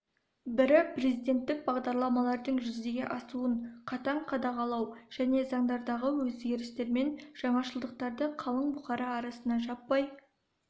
бірі президенттік бағдарламалардың жүзеге асуын қатаң қадағалау және заңдардағы өзгерістермен жаңашылдықтарды қалың бұқара арасында жаппай